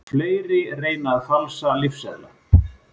Fleiri reyna að falsa lyfseðla